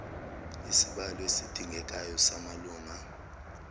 isibalo esidingekayo samalunga